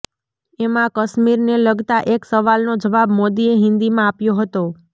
એમાં કશ્મીરને લગતા એક સવાલનો જવાબ મોદીએ હિન્દીમાં આપ્યો હતો